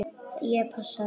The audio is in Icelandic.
Ég passa þig.